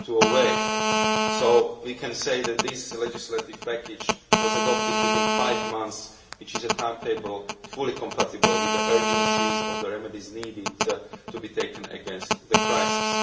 2008. So we can say that this legislative package was adopted within five months, which is a timetable fully compatible with the urgency of the remedies needed to be taken against the crisis.